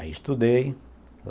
Aí estudei.